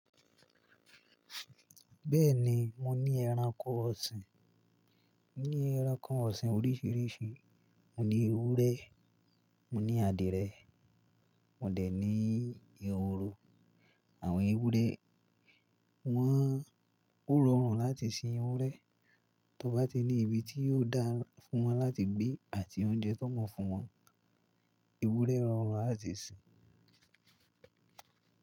Bẹ́ẹ̀ni, mo ní ẹranko ọ̀sìn. Mo ní ẹranko ọ̀sìn oríṣiríṣi: mo ní ewúrẹ́, mo ní àdìrẹ, mo dẹ̀ ní ehoro. Àwọn ewúrẹ́, wọ́n ó rọrùn láti sin ewúrẹ́; tó bá ti ní ibi tí yóò dára fún wọn láti gbé àti oúnjẹ tó mọ̀ fún wọn, ewúrẹ́ rọrùn láti sin.